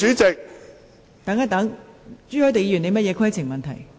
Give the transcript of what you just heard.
朱凱廸議員，你有甚麼規程問題？